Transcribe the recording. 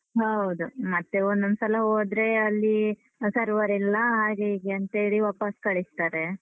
ಹೌದು. ಮತ್ತೆ ಒಂದೊಂದ್ಸಲ ಹೋದ್ರೆ ಅಲ್ಲಿ server ಇಲ್ಲ, ಹಾಗೆ ಹೀಗೆ ಅಂತೇಳಿ ವಾಪಾಸ್ ಕಳಿಸ್ತಾರೆ.